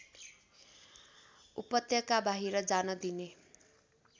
उपत्यकाबाहिर जान दिने